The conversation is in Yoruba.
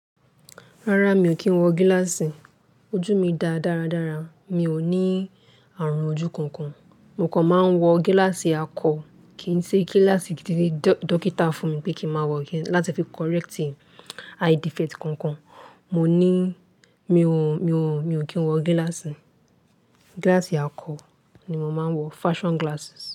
Rárá, mi ò kí ń wọ gíláàsì. Ojú mi dá dáradára. Mi ò ní àrùn ojú kankan. Mo kàn máa ń wọ gíláàsì akọ. Kì í ṣe gíláàsì tí dọ́kítà fún mi pé kí máa wọ láti fi correct eye defect gangan. Mò ní, mi ò, mi ò, mi ò kí ń wọ gíláàsì. Gíláàsì akọ ni mo máa ń wọ. Fashion glasses.